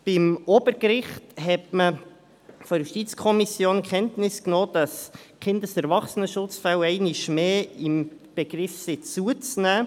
Beim Obergericht hat man vonseiten der JuKo Kenntnis davon genommen, dass die Kindes- und Erwachsenenschutzfälle einmal mehr im Begriff sind, zuzunehmen.